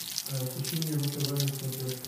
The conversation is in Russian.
включи мне ру тв на смотрешке